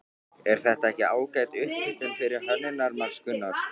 Er þetta ekki ágæt upphitun fyrir Hönnunarmars, Gunnar?